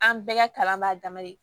An bɛɛ ka kalan b'a dama de